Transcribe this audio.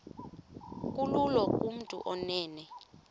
kulula kumntu onen